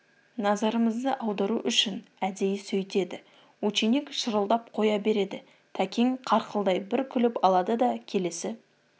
назарымызды аудару үшін әдейі сөйтеді ученик шырылдап қоя береді тәкең қарқылдай бір күліп алады да келесі